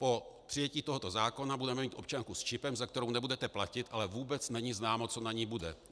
Po přijetí tohoto zákona budeme mít občanku s čipem, za kterou nebudete platit, ale vůbec není známo, co na ní bude.